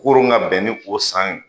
Koron ka bɛn ni o san ye